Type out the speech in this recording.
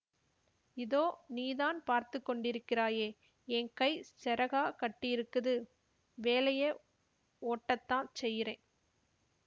இதோ நீதான் பாத்துக்கொண்டிருக்கராயே ஏங் கை செறகா கட்டியிருக்குது வேலையெ ஓட்டத்தான் செய்யிரேன்